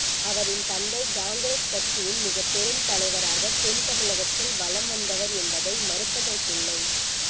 அவரின் தந்தை காங்கிரஸ் கட்சியின் மிகப் பெரும் தலைவராக தென் தமிழகத்தில் வலம் வந்தவர் என்பதை மறுப்பதிற்கில்லை